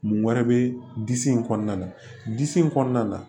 Mun wɛrɛ bɛ disi in kɔnɔna na disi in kɔnɔna na